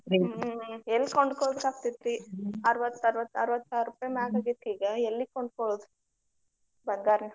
ಹ್ಮ ಹ್ಮ ಎಲ್ಲಿ ಕೊಂಡ್ಕೊಳ್ಳೊದಕ್ಕ ಆಗ್ತೆತಿ. ಅರವತ್ತ ಅರವತ್ತ ಅರವತ್ತ ಸಾವಿರ ರೂಪಾಯಿ ಮ್ಯಾಗ ಆಗೇತಿ ಈಗ ಎಲ್ಲಿ ಕೊಂಡ್ಕೊಳ್ಳೊದ ಬಂಗಾರ.